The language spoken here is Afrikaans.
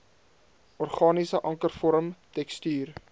organiese ankervorm tekstuur